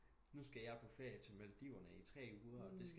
Nu skal jeg på ferie til Maldiverne i 3 uger og det